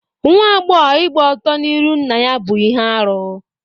Nwa agbọghọ ịgba ọtọ n'irụ nna ya bú ihe arụ.